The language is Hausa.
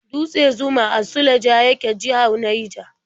Dutse Zuma a Suleja yake, jihar Naija.